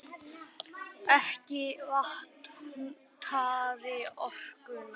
Ekki vantaði orkuna.